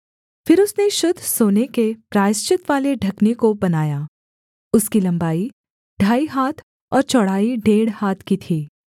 फिर उसने शुद्ध सोने के प्रायश्चितवाले ढकने को बनाया उसकी लम्बाई ढाई हाथ और चौड़ाई डेढ़ हाथ की थी